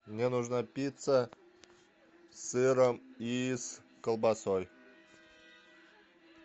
мне нужна пицца с сыром и колбасой